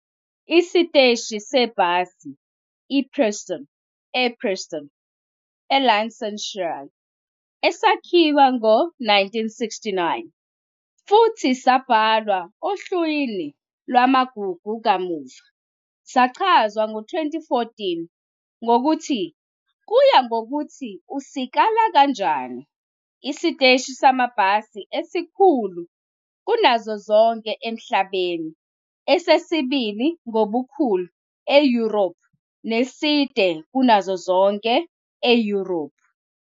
Isiteshi sebhasi i- Preston ePreston, eLancashire, esakhiwa ngo-1969 futhi sabhalwa ohlwini lwamagugu kamuva, sachazwa ngo-2014 ngokuthi "kuya ngokuthi usikala kanjani, isiteshi samabhasi esikhulu kunazo zonke emhlabeni, esesibili ngobukhulu eYurophu, neside kunazo zonke eYurophu ".